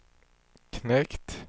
knekt